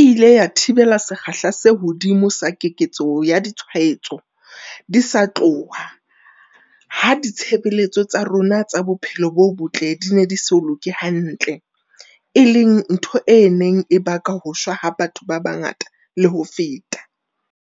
e ile ya thibela sekgahla se hodimo sa keketseho ya ditshwaetso di sa tloha ha ditshebeletso tsa rona tsa bophelo bo botle di ne di so loke hantle, e leng ntho e neng e ka baka ho shwa ha batho ba bangata le ho feta.